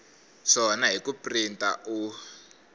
swona hi ku printa u